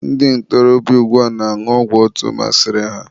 ndị ntorobịa ugbua na-añụ ọgwụ etu masịrị ha